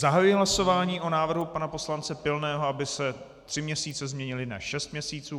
Zahajuji hlasování o návrhu pana poslance Pilného, aby se tři měsíce změnily na šest měsíců.